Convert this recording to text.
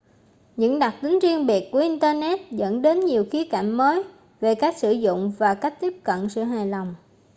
những đặc tính riêng biệt của internet dẫn đến nhiều khía cạnh mới về cách sử dụng và cách tiếp cận sự hài lòng